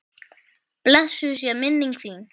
Blessuð sé minning þín!